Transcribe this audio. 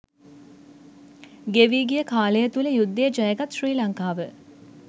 ගෙවී ගිය කාලය තුළ යුද්ධය ජයගත් ශ්‍රී ලංකාව